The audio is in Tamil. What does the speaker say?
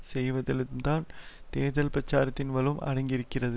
செய்வதிலும்தான் தேர்தல் பிரசாரத்தின் வலு அடங்கியிருக்கிறது